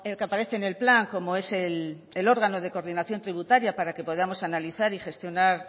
que aparece en el plan como es el órgano de coordinación tributaria para que podamos analizar y gestionar